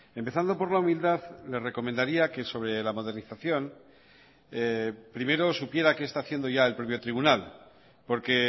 empezando por la humildad le recomendaría que sobre la modernización primero supiera que está haciendo ya el propio tribunal porque